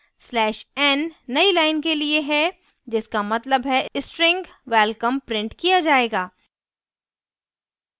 \n नयी line के लिए है; जिसका मतलब है string welcome printed किया जायेगा